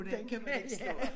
Den kan man ikke slå